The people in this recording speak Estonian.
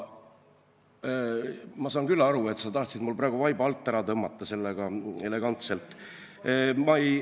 Ma saan aru küll, et sa tahtsid mul praegu sellega elegantselt vaiba alt ära tõmmata.